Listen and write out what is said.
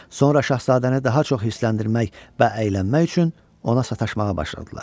Sonra şahzadəni daha çox hirsləndirmək və əylənmək üçün ona sataşmağa başladılar.